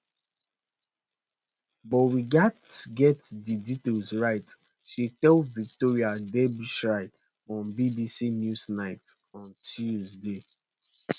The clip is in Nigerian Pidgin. but we gatz get di detail right she she tell victoria derbyshire on bbc newsnight on tuesday